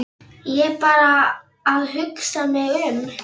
Ég er bara að hugsa mig um.